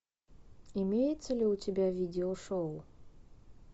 имеется ли у тебя видеошоу